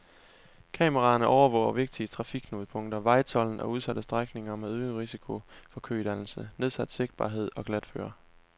Kameraerne overvåger vigtige trafikknudepunkter, vejtolden og udsatte strækninger med øget risiko for kødannelser, nedsat sigtbarhed og glatføre.